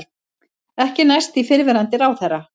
Ekki næst í fyrrverandi ráðherra